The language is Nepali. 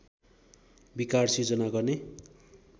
विकार सिर्जना गर्ने